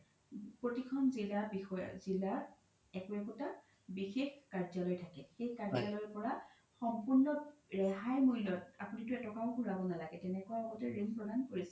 প্ৰতিখন জিলা একো একোতা বিশেষ কাৰ্যালই থাকে সেই কাৰ্যালৰ পৰা সম্পুৰ্ন ৰেহাই মুল্য আপোনিতো এ তকাও ঘুৰাব নালাগে তেনেকুৱা আগতে ৰিন প্ৰদান কৰিছিলে